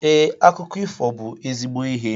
Ee, akụkọ ifo bu ezigbo ihe